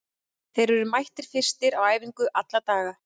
Þeir eru mættir fyrstir á æfingu alla daga.